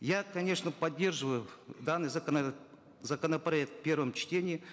я конечно поддерживаю данный законопроект в первом чтении